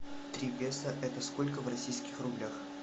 три песо это сколько в российских рублях